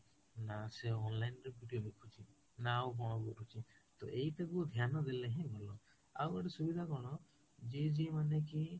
ନା ସେ online ରେ video ଦେଖୁଚି ନା ଆଉ କଣ ଦେଖୁଛି ତ ଏଇଟାକୁ ଧ୍ୟାନ ଦେଲେ ହିଁ ଭଲ ଆଉ ଗୋଟେ ସୁବିଧା କଣ ଯିଏ ଯିଏ ମାନେ କି